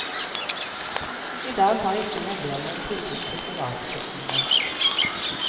I dag har ikke meglerne noe tilbud til privatkundene.